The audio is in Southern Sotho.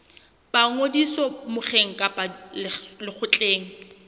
ba ngodiso mokgeng kapa lekgotleng